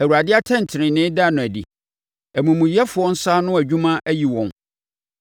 Awurade atɛntenenee da no adi; amumuyɛfoɔ nsa ano adwuma ayi wɔn.